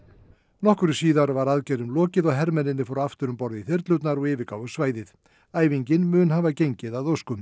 nokkru síðar var aðgerðum lokið og hermennirnir fóru aftur um borð í þyrlurnar og yfirgáfu svæðið æfingin mun hafa gengið að óskum